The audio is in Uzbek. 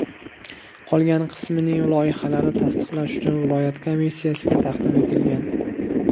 Qolgan qismining loyihalari tasdiqlash uchun viloyat komissiyasiga taqdim etilgan.